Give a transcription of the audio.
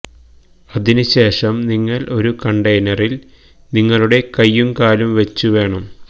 അതിനു ശേഷം നിങ്ങൾ ഒരു കണ്ടെയ്നറിൽ നിങ്ങളുടെ കയ്യും കാലും വെച്ചു വേണം